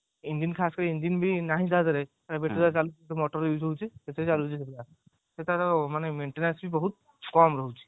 engine ଖାସ କରି engine ବି ନାହିଁ ତାଦେହରେ battery ରେ ଚାଲୁଅଛି motor use ହଉଛି ସେଥିରେ ଚାଲୁଅଛି ସେପୁରା ସେ ତାର ମାନେ maintenance ବି ବହୁତ କମ ରହୁଛି